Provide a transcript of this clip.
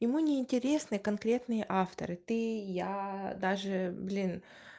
ему не интересны конкретные авторы ты я даже блин